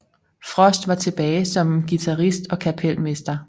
Frost var tilbage som guitarist og kapelmester